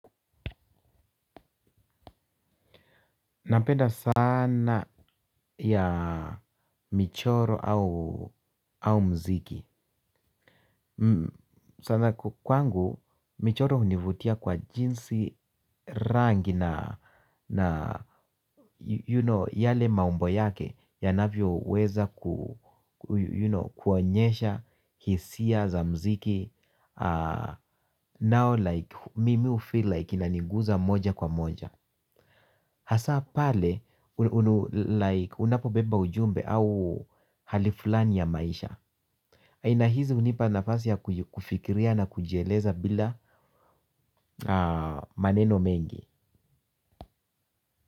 Napenda sanaa ya michoro au mziki. Sana kwangu, michoro hunivutia kwa jinsi rangi na yale maumbo yake yanavyoweza ku you know kuonyesha hisia za mziki Now like, mimi hufeel like inaniguza moja kwa moja. Hasa pale like unapobeba ujumbe au hali flani ya maisha. Aina hizi hunipa nafasi ya kufikiria na kujieleza bila maneno mengi.